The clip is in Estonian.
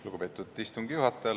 Lugupeetud istungi juhataja!